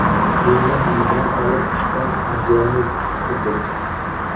Kelinim uydan olib chiqqan adyolni tutib turdik.